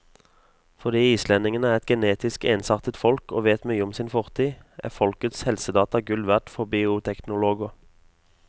Fordi islendingene er et genetisk ensartet folk og vet mye om sin fortid, er folkets helsedata gull verd for bioteknologer.